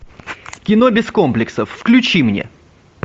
кино без комплексов включи мне